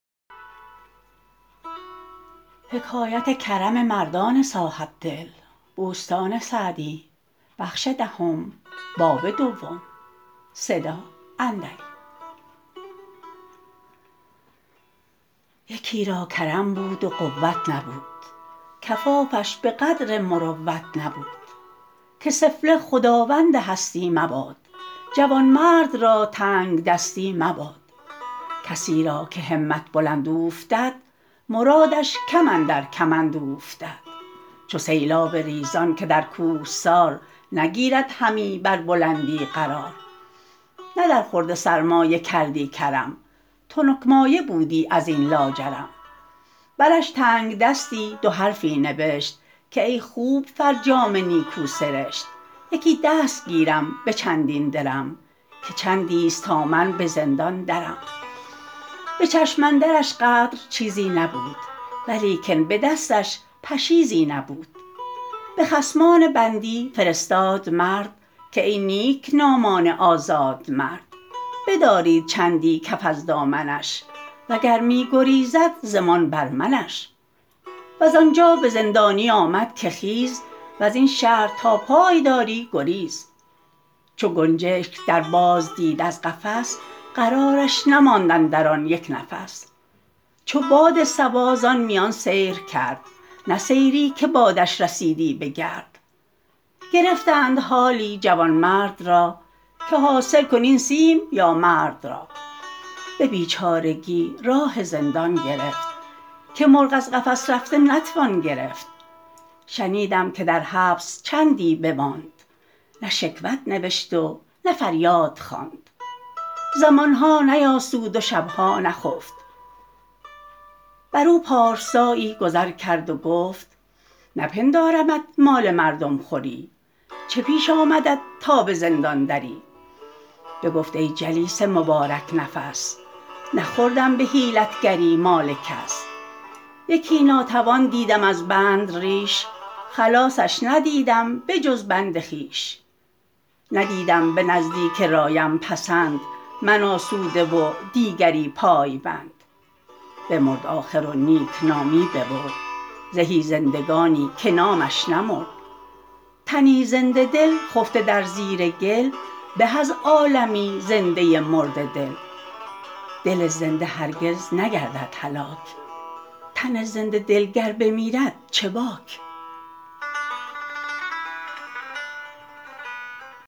یکی را کرم بود و قوت نبود کفافش به قدر مروت نبود که سفله خداوند هستی مباد جوانمرد را تنگدستی مباد کسی را که همت بلند اوفتد مرادش کم اندر کمند اوفتد چو سیلاب ریزان که در کوهسار نگیرد همی بر بلندی قرار نه در خورد سرمایه کردی کرم تنک مایه بودی از این لاجرم برش تنگدستی دو حرفی نبشت که ای خوب فرجام نیکو سرشت یکی دست گیرم به چندین درم که چندی است تا من به زندان درم به چشم اندرش قدر چیزی نبود ولیکن به دستش پشیزی نبود به خصمان بندی فرستاد مرد که ای نیکنامان آزاد مرد بدارید چندی کف از دامنش و گر می گریزد ضمان بر منش وز آنجا به زندانی آمد که خیز وز این شهر تا پای داری گریز چو گنجشک در باز دید از قفس قرارش نماند اندر آن یک نفس چو باد صبا زآن میان سیر کرد نه سیری که بادش رسیدی به گرد گرفتند حالی جوانمرد را که حاصل کن این سیم یا مرد را به بیچارگی راه زندان گرفت که مرغ از قفس رفته نتوان گرفت شنیدم که در حبس چندی بماند نه شکوت نوشت و نه فریاد خواند زمانها نیاسود و شبها نخفت بر او پارسایی گذر کرد و گفت نپندارمت مال مردم خوری چه پیش آمدت تا به زندان دری بگفت ای جلیس مبارک نفس نخوردم به حیلتگری مال کس یکی ناتوان دیدم از بند ریش خلاصش ندیدم به جز بند خویش ندیدم به نزدیک رایم پسند من آسوده و دیگری پایبند بمرد آخر و نیکنامی ببرد زهی زندگانی که نامش نمرد تنی زنده دل خفته در زیر گل به از عالمی زنده مرده دل دل زنده هرگز نگردد هلاک تن زنده دل گر بمیرد چه باک